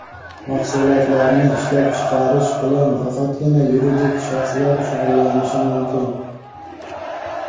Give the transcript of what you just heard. Mahsulotlarni ishlab chiqarish bilan faqatgina yuridik shaxslar shug‘ullanishi mumkin.